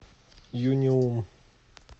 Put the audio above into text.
юниум